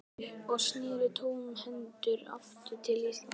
Hann gafst upp og sneri tómhentur aftur til Íslands.